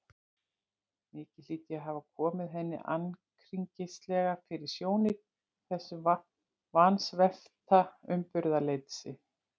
Mikið hlýt ég að hafa komið henni ankringislega fyrir sjónir í þessu vansvefta uppburðaleysi.